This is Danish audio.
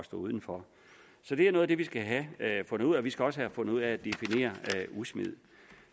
stå uden for så det er noget af det vi skal have fundet ud af vi skal også have fundet ud af at definere udsmid